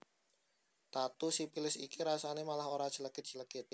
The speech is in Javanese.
Tatu sipilis iki rasane malah ora clekit clekit